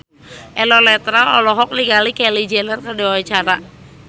Eno Netral olohok ningali Kylie Jenner keur diwawancara